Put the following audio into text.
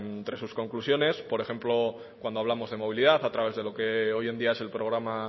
entre sus conclusiones por ejemplo cuando hablamos de movilidad a través de lo que hoy en día es el programa